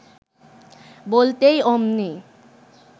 বলতেই অমনি